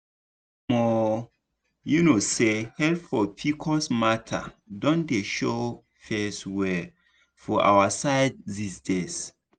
omo you known say help for pcos matter don dey show face well for our side these days.